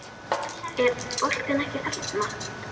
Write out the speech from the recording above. Er boltinn ekki þarna?